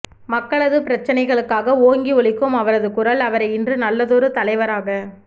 மக்களது பிரச்சினைகளுக்காக ஓங்கி ஒலிக்கும் அவரது குரல் அவரை இன்று நல்லதொரு தலைவராக